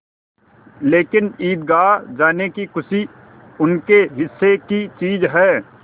लेकिन ईदगाह जाने की खुशी उनके हिस्से की चीज़ है